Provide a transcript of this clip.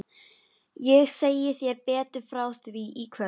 Ég segi þér betur frá því í kvöld.